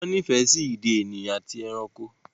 Wọ́n nífẹ̀ẹ́ sí ìdè ènìyàn àti ẹranko.